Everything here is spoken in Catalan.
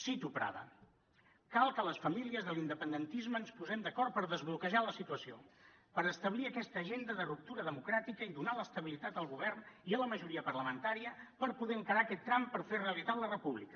cito prada cal que les famílies de l’independentisme ens posem d’acord per desbloquejar la situació per establir aquesta agenda de ruptura democràtica i donar l’estabilitat al govern i a la majoria parlamentària per poder encarar aquest tram per fer realitat la república